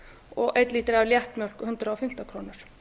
og einn lítri af léttmjólk hundrað og fimmtán krónur